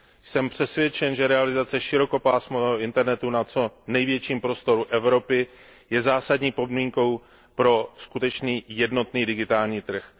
Jsem přesvědčen, že realizace širokopásmového Internetu na co největším prostoru Evropy je zásadní podmínkou pro skutečný jednotný digitální trh.